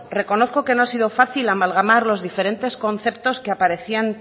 reconozco que no ha sido fácil amalgamar los diferentes conceptos que aparecían